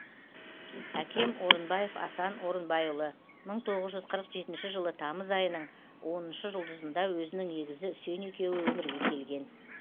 әкем орынбаев асан орынбайұлы мың тоғыз жүз қырық жетінші жылы тамыз айының оныншы жұлдызында өзінің егізі үсен екеуі өмірге келген